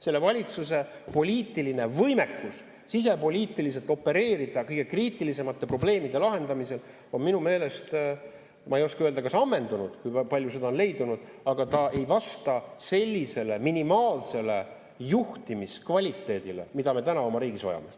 Selle valitsuse poliitiline võimekus sisepoliitiliselt opereerida kõige kriitilisemate probleemide lahendamisel on minu meelest, ma ei oska öelda, kas ammendunud, kui palju seda on leidunud, aga ta ei vasta sellisele minimaalsele juhtimiskvaliteedile, mida me täna oma riigis vajame.